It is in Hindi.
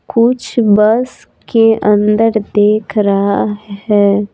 कुछ बस के अंदर देख रहा है।